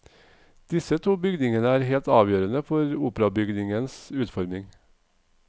Disse to bygningene er helt avgjørende for operabygningens utformning.